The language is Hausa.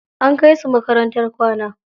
An kai su makarantar kwana.